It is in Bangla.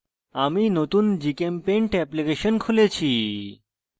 আমি নতুন gchempaint এপ্লিকেশন খুলেছি